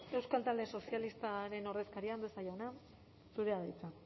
euskal talde sozialistaren ordezkaria andueza jauna zurea da hitza